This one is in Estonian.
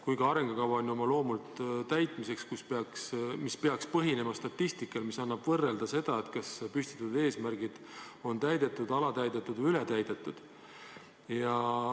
Kuigi arengukava on oma loomult ju täitmiseks, see peaks põhinema statistikal, mis annab võimaluse võrrelda, kas püstitatud eesmärgid on täidetud, alatäidetud või ületäidetud.